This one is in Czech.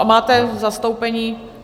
A máte zastoupení?